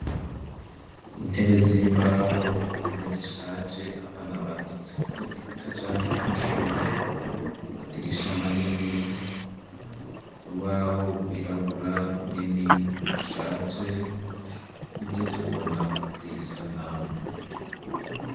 Intebe z'imbaho, impome zishaje abana banditseko ibitajanye n'amashure, amadirisha manini, urubaho rwirabura runini rushaje, nivyo tubona kuri iyi sanamu.